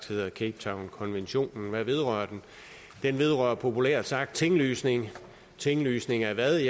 hedder cape town konventionen hvad vedrører den den vedrører populært sagt tinglysning tinglysning af hvad